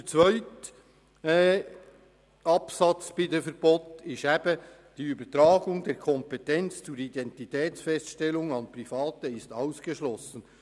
Der nächste Absatz, Artikel 77 Absatz 2, lautet: «Die Übertragung der Kompetenz zur Identitätsfeststellung an Private ist ausgeschlossen.